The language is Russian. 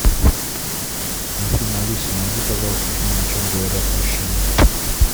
афина алиса найди пожалуйста фильм о чем говорят мужчины